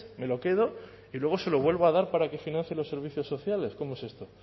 me lo quedo y luego se lo vuelvo a dar para que financien los servicios sociales cómo es esto